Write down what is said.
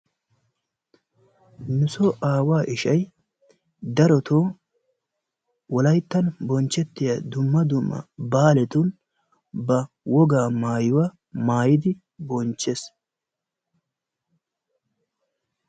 nu soo aawaa ishay darotton wolayttan bonchettiya dumma dumma baalatun ba wogaa maayuwa maayidi bonchees.